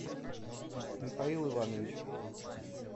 михаил иванович